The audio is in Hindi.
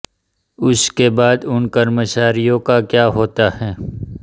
उसके बाद उन कर्मचारियों का क्या होता है